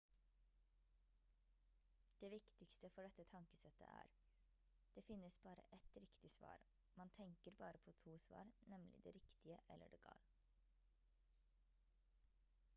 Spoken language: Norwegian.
det viktigste for dette tankesettet er det finnes bare ett riktig svar man tenker bare på to svar nemlig det riktige eller det gal